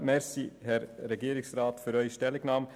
Herr Regierungsrat, ich danke Ihnen für Ihre Stellungnahme.